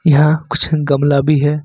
यहां कुछ गमला भी है।